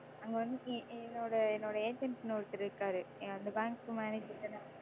அங்க வந்துட்டு என்னோட என்னோட Agent ன்னு ஒருத்தர் இருக்காரு. அந்த Bank manager,